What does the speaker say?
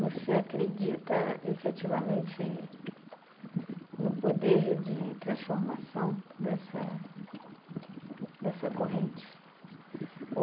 Você acredita efetivamente no poder de transformação dessa corrente?